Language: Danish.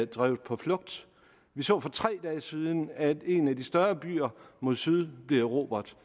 drevet på flugt vi så for tre dage siden at en af de større byer mod syd blev erobret